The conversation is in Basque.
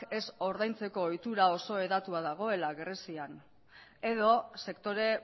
ez ordaintzeko ohitura oso eratua dagoela grezian edo sektore